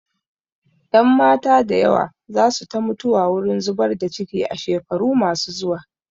Ƴanmata da yawa za su ta mutuwa wurin zubar da ciki a shekaru ma su zuwa